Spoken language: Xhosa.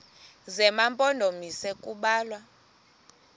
zema mpondomise kubalwa